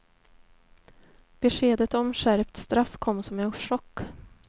Beskedet om skärpt straff kom som en chock.